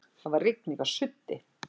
Það var rigningarsuddi.